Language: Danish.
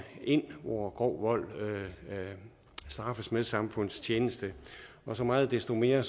ind hvor grov vold straffes med samfundstjeneste og så meget desto mere er